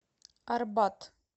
арбатъ